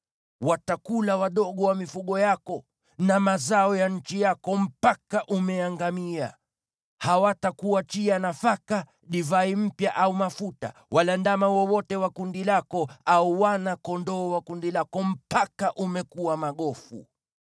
Watakula wadogo wa mifugo yako na mazao ya nchi yako mpaka umeangamia. Hawatakuachia nafaka, divai mpya au mafuta, wala ndama wowote wa kundi lako au wana-kondoo wa kundi lako mpaka umekuwa magofu.